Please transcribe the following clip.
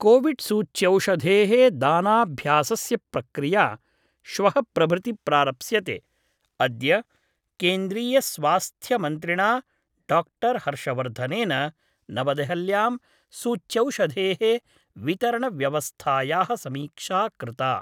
कोविड्सूच्यौषधे: दानाभ्यासस्य प्रक्रिया श्वः प्रभृति प्रारप्स्यते अद्य केन्द्रीयस्वास्थ्यमन्त्रिणा डॉक्टर हर्षवर्धनेन नवदेहल्यां सूच्यौषधे: वितरण व्यवस्थाया: समीक्षा कृता।